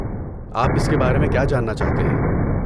آپ اس کے بارے میں کیا جاننا چاہتے ہیں؟